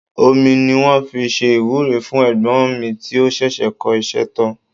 Omi ni wọ́n fi ṣe ìwúre fún ẹ̀gbọ́n mi tí ó ṣẹ̀ṣẹ̀ kọ́ iṣẹ́ tán